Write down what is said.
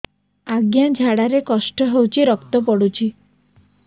ଅଜ୍ଞା ଝାଡା ରେ କଷ୍ଟ ହଉଚି ରକ୍ତ ପଡୁଛି